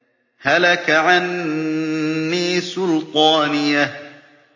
هَلَكَ عَنِّي سُلْطَانِيَهْ